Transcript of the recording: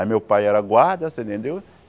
Aí meu pai era guarda, você entendeu?